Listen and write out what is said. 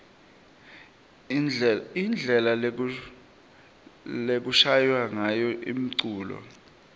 indlela lekushaywa ngayo umculo